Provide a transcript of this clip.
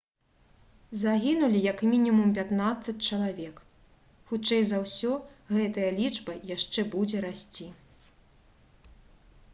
загінулі як мінімум 15 чалавек. хутчэй за ўсё гэтая лічба яшчэ будзе расці»